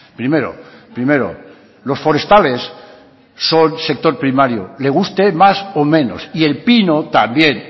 primero primero los forestales son sector primario le guste más o menos y el pino también